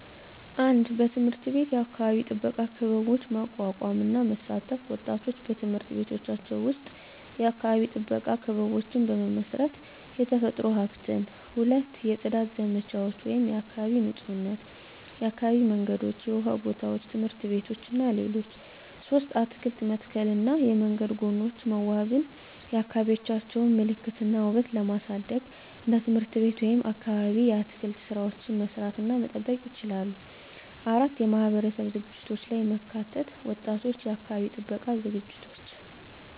1. በትምህርት ቤት የአካባቢ ጥበቃ ክበቦች ማቋቋም እና መሳተፍ ወጣቶች በትምህርት ቤቶቻቸው ውስጥ የአካባቢ ጥበቃ ክበቦችን በመመስረት፣ የተፈጥሮ ሀብትን። 2. የጽዳት ዘመቻዎች (የአካባቢ ንፁህነት) የአካባቢ መንገዶች፣ የውሃ ጎታዎች፣ ትምህርት ቤቶች እና ሌሎች 3. አትክልት መተከልና የመንገድ ጎኖች መዋበን የአካባቢዎቻቸውን ምልክት እና ውበት ለማሳደግ እንደ ትምህርት ቤት ወይም አካባቢ የአትክልት ሥራዎችን መስራት እና መጠበቅ ይችላሉ። 4. የማህበረሰብ ዝግጅቶች ላይ መተካት ወጣቶች የአካባቢ ጥበቃ ዝግጅቶች